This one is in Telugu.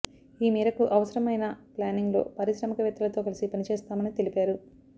ఈ మేరకు అవసరం అయిన ప్లానింగ్ లో పారిశ్రామికవేత్తలతో కలిసి పనిచేస్తామని తెలిపారు